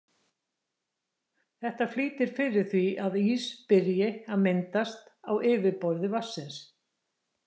Þetta flýtir fyrir því að ís byrji að myndast á yfirborði vatnsins.